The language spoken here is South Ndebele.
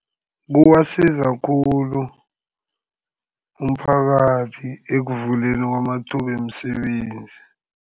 Kubasiza khulu umphakathi ekuvuleni kwamathuba wemisebenzi.